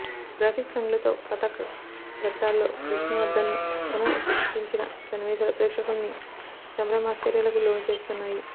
graphics హంగులతో పతాక ఘట్టాల్లో విష్ణువర్ధన్ను పునఃసృష్టించిన సన్నివేశాలు ప్రేక్షకుల్ని సంభ్రమాశ్చర్యాలకు లోనుచేస్తున్నాయి